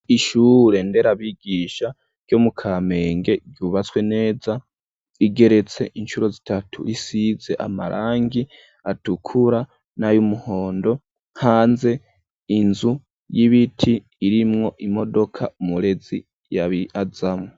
Ishure nderabigisha ryo mu Kamenge ryubatswe neza, igeretse incuro zitatu risize amarangi atukura n'ay'umuhondo, hanze inzu y'ibiti irimwo imodoka umurezi ya bi azamwo.